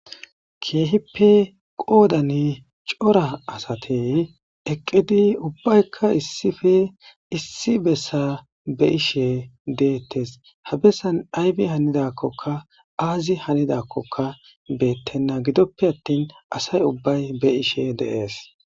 keehippe qoodani cora asate eqqidi ubbaykka issife issi bessa be'ishe deettes habessan aybi hanidakkoka aazi hanidakkoka beettenna gidoppe attin asay ubbay be'ishe de'ees